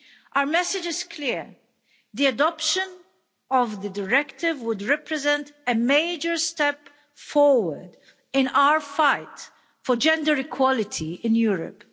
Our message is clear the adoption of the directive would represent a major step forward in our fight for gender equality in Europe.